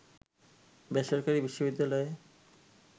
বেসরকারি বিশ্ববিদ্যালয়ে